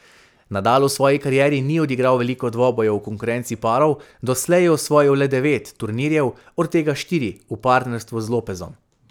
Nadal v svoji karieri ni odigral veliko dvobojev v konkurenci parov, doslej je osvojil le devet turnirjev, od tega štiri v partnerstvu z Lopezom.